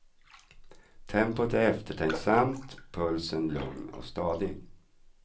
Tempot är eftertänksamt, pulsen lugn och stadig.